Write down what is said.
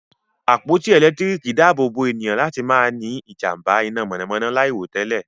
àpótí elekitiriki daabobo ènìyàn láti má ní ijamba iná mọnamọna lairotẹlẹ.